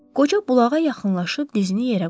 Qoca bulağa yaxınlaşıb dizini yerə qoydu.